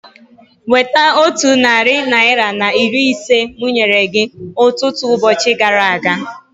Weta otu narị naira na iri ise mụ nyere gị ọtụtụ ụbọchị gara aga